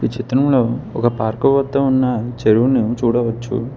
చిత్రంలో ఒక పార్కు వద్ద ఉన్న చెరువుని చూడవచ్చు.